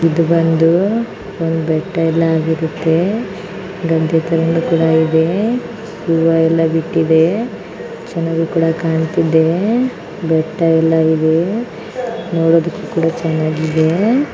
ಇದು ಬಂದೂ ಒಂದ್ ಬೆಟ್ಟ ಇಲ್ ಆಗಿರುತ್ತೇ ಗದ್ದೆ ತರನು ಕೂಡ ಇದೇ ಹೂವಾ ಎಲ್ಲ ಬಿಟ್ಟಿದೇ ಚೆನ್ನಾಗೂ ಕೂಡ ಕಾಣ್ತಿದೇ ಬೆಟ್ಟ ಎಲ್ಲ ಇದೇ. ನೋಡದಕ್ಕು ಕೂಡ ಚೆನ್ನಾಗಿದೇ.